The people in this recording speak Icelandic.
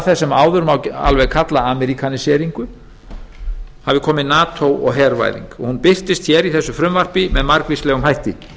sem áður má alveg kalla ameríkaníseringu hafi komið nato og hervæðing og hún birtist í þessu frumvarpi með margvíslegum hætti